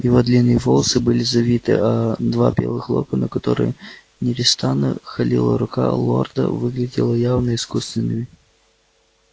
его длинные волосы были завиты а два белых локона которые непрестанно холила рука лорда выглядели явно искусственными